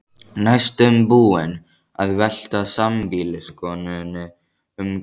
Næstum búinn að velta sambýliskonunni um koll.